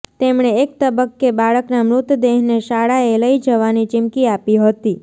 તેમણે એક તબક્કે બાળકનાં મૃતદેહને શાળાએ લઈ જવાની ચિમકી આપી હતી